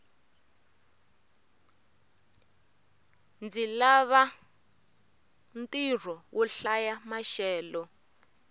ndzi lava ntirho wo hlaya maxelo